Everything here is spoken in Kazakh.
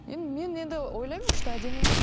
енді мен енді ойлаймын что әдемі